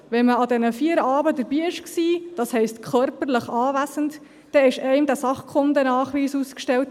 Wenn man an diesen vier Abenden dabei gewesen ist, das heisst körperlich anwesend war, dann wurde einem dieser Sachkundenachweis ausgestellt.